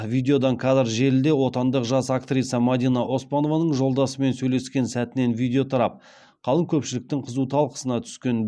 видеодан кадр желіде отандық жас актриса мадина оспанованың жолдасымен сөйлескен сәтінен видео тарап қалың көпшіліктің қызу талқысына түскен